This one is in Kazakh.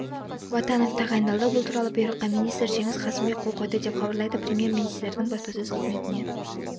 батанов тағайындалды бұл туралы бұйрыққа министр жеңіс қасымбек қол қойды деп хабарлайды премьер-министрдің баспасөз қызметіне